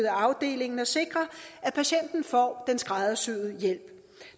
afdelingen og sikre at patienten får den skræddersyede hjælp